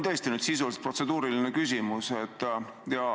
Tegelikult on mul protseduuriline küsimus.